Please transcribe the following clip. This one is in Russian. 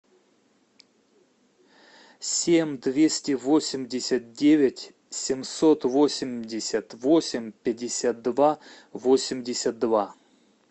семь двести восемьдесят девять семьсот восемьдесят восемь пятьдесят два восемьдесят два